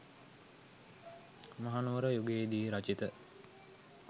මහනුවර යුගයේ දී රචිත